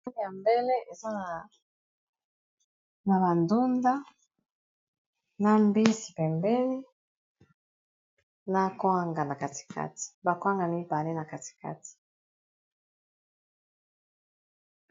Bali ya mbele eza na ba ndunda na mbisi pembeni na koanga na katikati ba kwanga mibale na katikati.